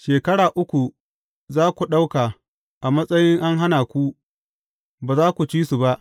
Shekara uku za ku ɗauka a matsayi an hana ku, ba za ku ci su ba.